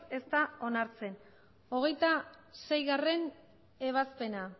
ez da onartzen hogeita seigarrena ebazpena